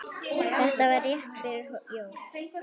Þetta var rétt fyrir jól.